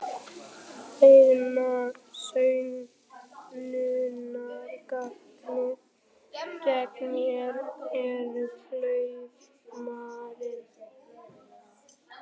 Eina sönnunargagnið gegn mér er klaufhamarinn.